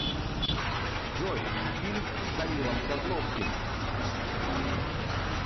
джой фильм с данилом козловским